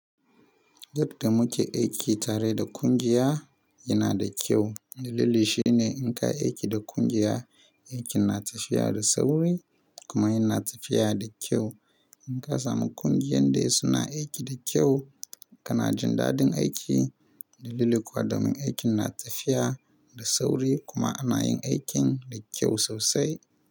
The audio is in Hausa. Yadda muke aiki tare da kungiya, yana da kyau. Dalili shine, in ka yi aiki da kungiya, aikin na tafiya da sauri kuma yana tafiya da kyau. In ka samu ƙungiyan da suna aiki da kyau, kana jin dadin aiki. Dalili kuwa domin aikin na tafiya da sauri kuma ana yin aikin da kyau sosai.